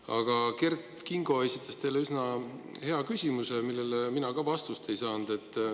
Aga Kert Kingo esitas teile üsna hea küsimuse, millele mina ka vastust ei saanud.